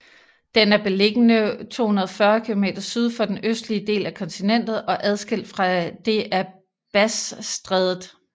Den er beliggende 240 km syd for den østlige del af kontinentet og adskilt fra det af Bassstrædet